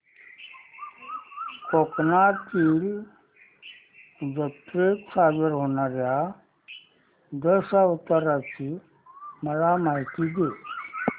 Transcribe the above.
कोकणातील जत्रेत सादर होणार्या दशावताराची मला माहिती दे